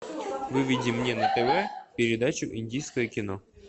выведи мне на тв передачу индийское кино